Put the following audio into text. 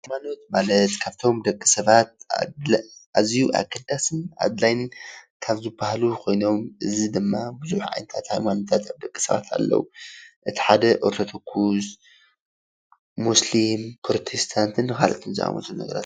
ሃይማኖት ማለት ካብቶም ደቂ ሰባት አዝዩ አገዳስን ኣድላዩን ካብ ዝበሃሉ ኮይኖም እዚ ድማ ብዙሕ ዓይነታት ሃይማኖታት ደቂሰባት ኣለው እቲ ሓደ ኦርቶዶክስ ፣ ሙስሊም፣ ፕሮቴስታንትን ካልኦትን ዝኣመሰሉ ነገራት ኣለው ።